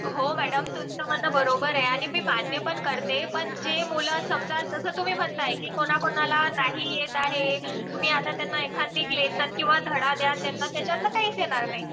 हो मॅडम. तुमचं म्हणणं बरोबर आहे आणि मी मान्य पण करते पण जे मुलं समजा जसं तुम्ही म्हणताय कि कोणाकोणाला नाही येत आहे. तुम्ही आता त्यांना एखाद लेसन किंवा धडा द्या. त्यांना त्याच्यातलं काहीच येणार नाही.